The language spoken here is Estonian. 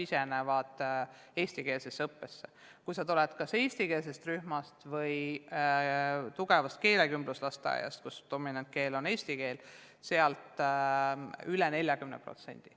Nendest lastest, kes tulevad kas eestikeelsest rühmast või tugevast keelekümbluslasteaiast, kus dominantkeel on eesti keel, läheb eestikeelsesse kooli üle 40%.